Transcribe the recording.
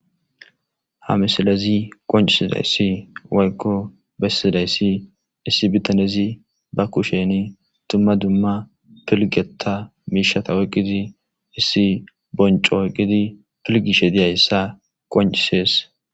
Ha misilezi qoncisizayssi woykko bessidayssi issi bitanezi ba kusheni dumma dumma piilgeta miishshata oyqqidii issi boncco oyqidii pilgishe diyayssa qoncisees